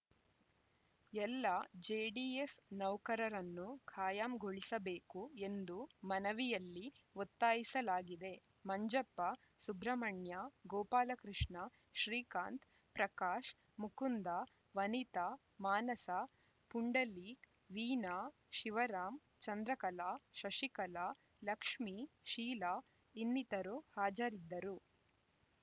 ಎಲ್ಲ J D S ನೌಕರರನ್ನು ಖಾಯಂಗೊಳಿಸಬೇಕು ಎಂದು ಮನವಿಯಲ್ಲಿ ಒತ್ತಾಯಿಸಲಾಗಿದೆ ಮಂಜಪ್ಪ ಸುಬ್ರಹ್ಮಣ್ಯ ಗೋಪಾಲಕೃಷ್ಣ ಶ್ರೀಕಾಂತ್‌ ಪ್ರಕಾಶ್‌ ಮುಕುಂದ ವನಿತಾ ಮಾನಸ ಪುಂಡಲೀಕ್‌ ವೀನಾ ಶಿವರಾಮ್‌ ಚಂದ್ರಕಲಾ ಶಶಿಕಲ ಲಕ್ಷ್ಮಿ ಶೀಲಾ ಇನ್ನಿತರರು ಹಾಜರಿದ್ದರು